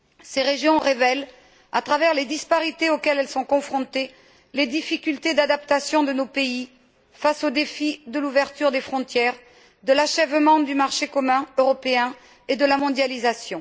Ces régions révèlent, à travers les disparités auxquelles elles sont confrontées, les difficultés d'adaptation de nos pays face au défi de l'ouverture des frontières, de l'achèvement du marché commun européen et de la mondialisation.